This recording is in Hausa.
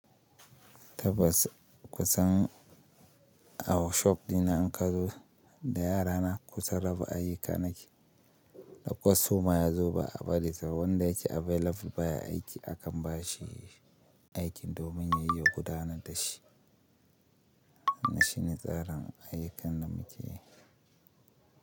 Tabbas kusan a workshop dina in ka zo da yara na kusa raba ayyukan naki, da kwastoma yazo ba a bari wanda yake available baya aiki akan ba shi aikin domin ya yi gudanar da shi. Wannan shi ne tsarin ayyukan da muke yi.